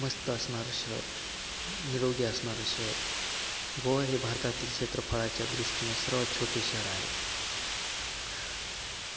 मस्त असणारं शहर, निरोगी असणारं शहर. गोवा हे भारतातील क्षेत्रफळाच्या दृष्टीने सर्वात छोटे शहर आहे.